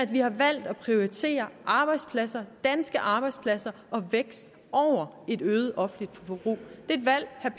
vi har valgt at prioritere arbejdspladser danske arbejdspladser og vækst over et øget offentligt forbrug det er et valg herre